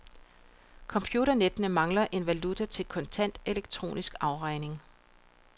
Computernettene mangler en valuta til kontant, elektronisk afregning.